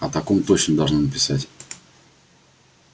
о таком точно должны написать